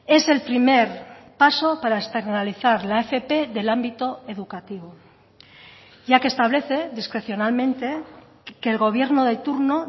es el primer paso para externalizar la fp del ámbito educativo ya que establece discrecionalmente que el gobierno de turno